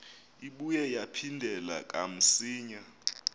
ibuye yaphindela kamsinya